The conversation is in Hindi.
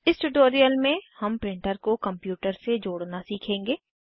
इस ट्यूटोरियल में हम प्रिंटर को कंप्यूटर से जोड़ना सीखेंगे